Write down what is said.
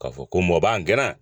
K'a fɔ ko mɔ b'an gɛnɛ